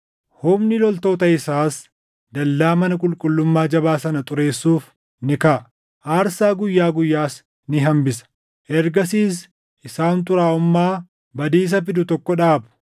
“Humni loltoota isaas dallaa mana qulqullummaa jabaa sana xureessuuf ni kaʼa; aarsaa guyyaa guyyaas ni hambisa. Ergasiis isaan xuraaʼummaa badiisa fidu tokko dhaabu.